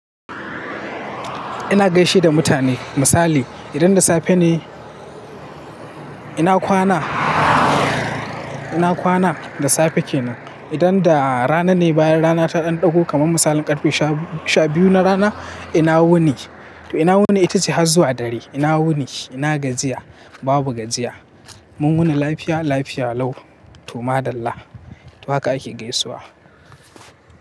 Ina gaishe da mutane. Misali idan da safe ne, ina kwana, ina kwana da safe kenan. Idan da rana ne, bayan rana ta ɗan ɗago kamar misalin ƙarfe sha-biyu na rana ina wuni. To ina wuni itace har zuwa dare. Ina wuni, ina gajiya, babu gajiya. Mun wuni lafiya, lafiya lau to madalla. To haka ake gaisuwa.